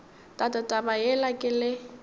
tate taba yela ke le